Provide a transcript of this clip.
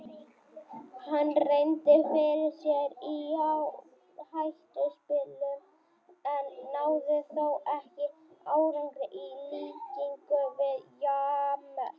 Hann reyndi fyrir sér í fjárhættuspili en náði þó ekki árangri í líkingu við James.